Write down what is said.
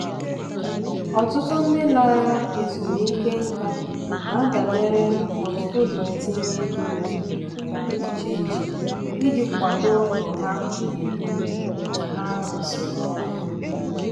ọtụtụ ndị lara ezumike nka na-adabere na pọtụfoliyo ntinye ego dị um iche iche iji kwado ndụ ha na-ebi mgbe ha rụsịrị ọrụ.